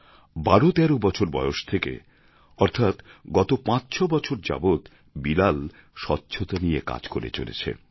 ১২ ১৩ বছর বয়স থেকে অর্থাৎ গত ৫ ৬ বছর যাবৎ বিলাল স্বচ্ছতা নিয়ে কাজ করে চলেছে